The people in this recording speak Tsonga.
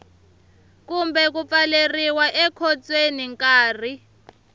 kumbe ku pfaleriwa ekhotsweni nkarhi